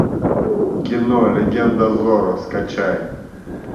кино легенда зорро скачай